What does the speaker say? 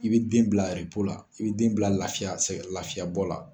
I bɛ den bila la i bɛ den bila lafiya, sɛgɛn lafiya bɔ la.